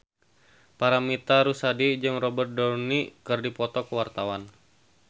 Paramitha Rusady jeung Robert Downey keur dipoto ku wartawan